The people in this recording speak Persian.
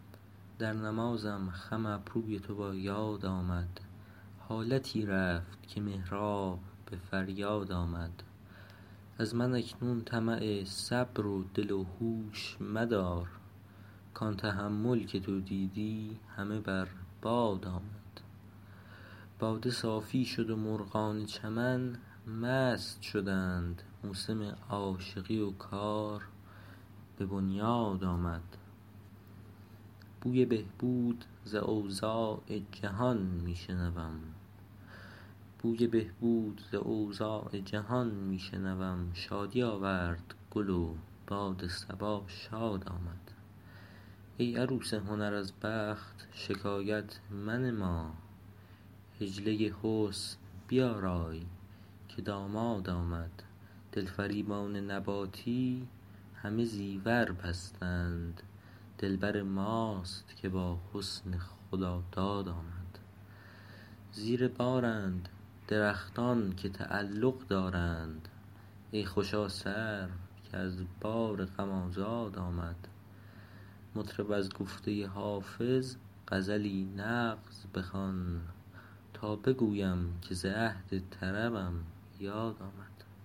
در نمازم خم ابروی تو با یاد آمد حالتی رفت که محراب به فریاد آمد از من اکنون طمع صبر و دل و هوش مدار کان تحمل که تو دیدی همه بر باد آمد باده صافی شد و مرغان چمن مست شدند موسم عاشقی و کار به بنیاد آمد بوی بهبود ز اوضاع جهان می شنوم شادی آورد گل و باد صبا شاد آمد ای عروس هنر از بخت شکایت منما حجله حسن بیارای که داماد آمد دلفریبان نباتی همه زیور بستند دلبر ماست که با حسن خداداد آمد زیر بارند درختان که تعلق دارند ای خوشا سرو که از بار غم آزاد آمد مطرب از گفته حافظ غزلی نغز بخوان تا بگویم که ز عهد طربم یاد آمد